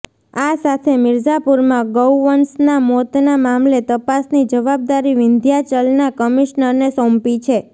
આ સાથે મિર્ઝાપુરમાં ગૌવંશના મોતના મામલે તપાસની જવાબદારી વિંધ્યાચલના કમિશનરને સોંપી છે